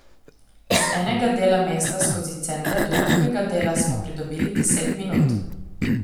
Iz enega dela mesta skozi center do drugega dela smo pridobili deset minut.